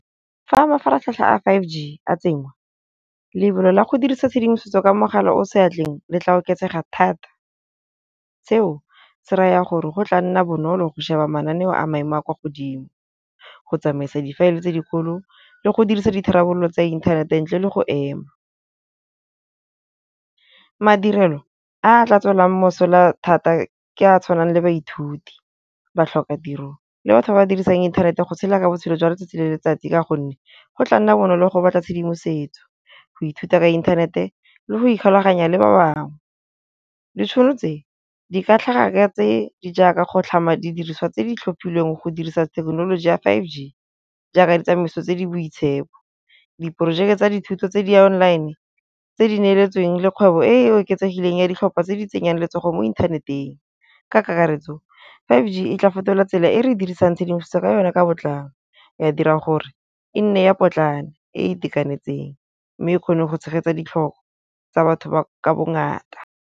Fa mafaratlhatlha a five G a tsenngwa, lebelo la go dirisa tshedimosetso ka mogala o seatleng le tla oketsega thata. Seo se raya gore go tla nna bonolo go sheba mananeo a maemo a kwa godimo, go tsamaisa difaele tse dikgolo le go dirisa ditharabollo tsa inthanete ntle le go ema. Madirelo a tla tswelang mosola thata ke a tshwanang le baithuti, batlhokatiro le batho ba dirisang inthanete go tshela botshelo jwa letsatsi le letsatsi ka gonne go tla nna bonolo go batla tshedimosetso, go ithuta ka inthanete le go ikgulaganya le ba bangwe. Ditšhono tse di ka tlhaga ka tse di jaaka go tlhama didiriso tse di tlhophilweng go dirisa thekenoloji ya five G, jaaka ditsamaiso tse di boitshepo. Diporojeke tsa dithuto tse di-online tse di neeletsweng le kgwebo e e oketsegileng ya ditlhopha tse di tsenyang letsogo mo inthaneteng, ka kakaretso five G e tla fetola tsela e re dirisang tshedimosetso ka yona ka botlalo, ya dira gore e nne ya potlane, e e itekanetseng mme e kgone go tshegetsa ditlhoko tsa batho ba ka bongata.